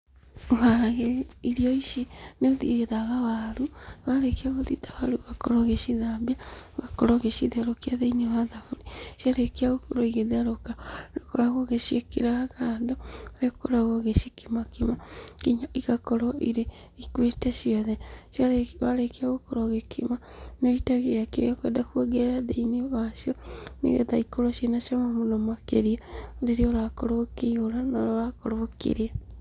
Ũharagĩria irio ici nĩ ũthithaga waru, na warĩkia gũthitha waru ũgakorwo ũgĩcithambia, ũgakorwo ũgĩcitherũkia thĩinĩ wa thaburia, ciarĩkia gũkorwo igĩtherũka nĩũkoragwo ũgĩciĩkĩra kando, harĩa ũkoragwo ũgĩcikimakima nginya igakorwo irĩ, ikuĩte ciothe, na warĩkia gũkorwo ũgĩcikima nĩ, nĩ wũitagĩrĩra kĩrĩa ũkwenda kuongerera thĩinĩ wacio, nĩgetha ikorwo ciĩna cama mũno makĩria, rĩrĩa ũrakorwo ũkĩihũra na ũrakorwo ũkĩrĩa.